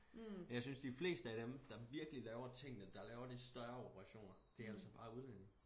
Jeg synes de fleste af dem der virkelig laver tingene der laver de større operationer det alt sammen bare udlændinge